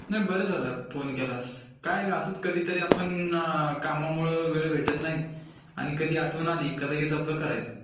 नाही बर झालं फोन केलास. काय असच कधीतरी आपण..कामामुळे वेळ भेटत नाही आणि कधी आठवण आली का लगेच आपल करायचं.